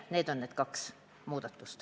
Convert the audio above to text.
Need on need kaks muudatust.